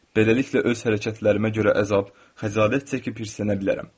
Beləliklə öz hərəkətlərimə görə əzab, xəcalət çəkib hirslənə bilərəm.